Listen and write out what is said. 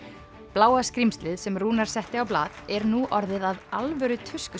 bláa skrímslið sem Rúnar setti á blað er nú orðið að alvöru